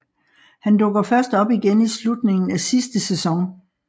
Han dukker først op igen i slutningen af sidste sæson